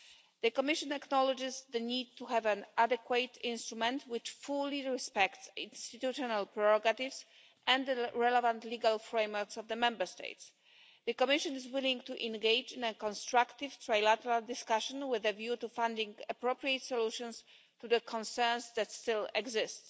The Commission acknowledges the need to have an adequate instrument which fully respects institutional prerogatives and the relevant legal frameworks of the Member States. The Commission is willing to engage in a constructive trilateral discussion with a view to finding appropriate solutions to the concerns that still exist.